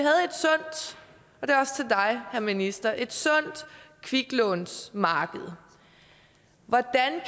dig herre minister et sundt kviklånsmarked hvordan